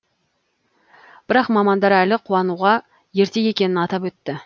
бірақ мамандар әлі қуануға ерте екенін атап өтті